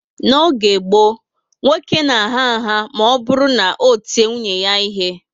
N'oge gboo, nwoke na agha nha ma oburu na o tie nwunye ya ihe